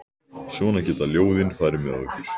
Svona geta ljóðin farið með okkur.